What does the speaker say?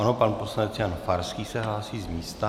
Ano, pan poslanec Jan Farský se hlásí z místa.